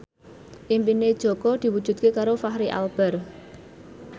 impine Jaka diwujudke karo Fachri Albar